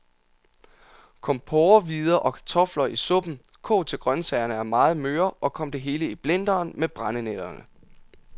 Kom porrehvider og kartofler i suppen, kog til grøntsagerne er meget møre, og kom det hele i blenderen med brændenælderne.